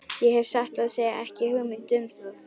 Ég hef satt að segja ekki hugmynd um það.